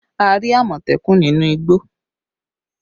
We saw a Leopard in the forest